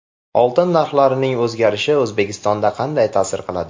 Oltin narxlarining o‘zgarishi O‘zbekistonga qanday ta’sir qiladi?